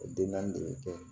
O den naani de bɛ kɛ